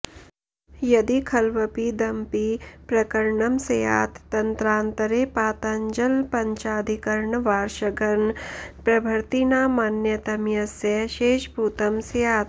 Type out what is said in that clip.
यदि खल्वपीदमपि प्रकरणं स्यात् तन्त्रान्तरे पातञ्जलपञ्चाधिकरणवार्षगणप्रभृतीनामन्यतमस्य शेषभूतं स्यात्